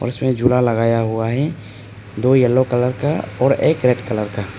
इसमें झूला लगाया हुआ है दो येलो कलर का और एक रेड कलर का।